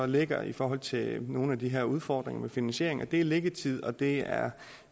ligger i forhold til nogle af de her udfordringer med finansiering det er liggetid og det er